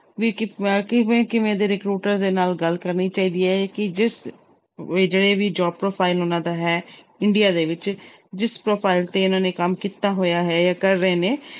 ਵੀ ਕ~ ਕਿਵੇਂ ਕਿਵੇਂ ਦੇ recruiter ਦੇ ਨਾਲ ਗੱਲ ਕਰਨੀ ਚਾਹੀਦੀ ਹੈ ਕਿ ਜਿਸ ਵੀ ਜਿਹੜੇ ਵੀ job profile ਉਹਨਾਂ ਦਾ ਹੈ India ਦੇ ਵਿੱਚ ਜਿਸ profile ਤੇ ਇਹਨਾਂ ਨੇ ਕੰਮ ਕੀਤਾ ਹੋਇਆ ਹੈ ਜਾਂ ਕਰ ਰਹੇ ਨੇ,